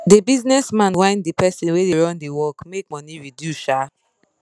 the business man whine the person wey da run d work make money reduce um